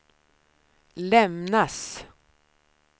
lämnas